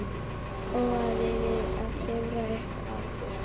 Óaði við að klifra upp aftur.